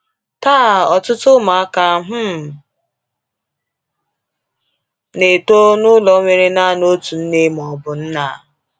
Taa, ọtụtụ ụmụaka um na-eto n’ụlọ nwere naanị otu nne ma ọ bụ nna.